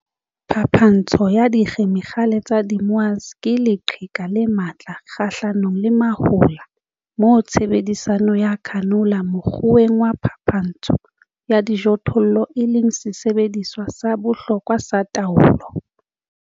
Phapantsho ya dikhemikhale tsa di-moa's ke leqheka le matla kgahlanong le mahola, moo tshebediso ya canola mokgweng wa phapantssho ya dijothollo e leng sesebediswa sa bohlokwa sa taolo.